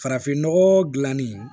Farafinnɔgɔ gilanni